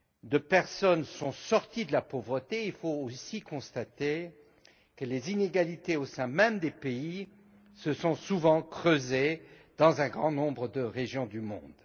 de personnes sont sorties de la pauvreté, il faut aussi constater que les inégalités au sein même des pays se sont souvent creusées dans un grand nombre de régions du monde.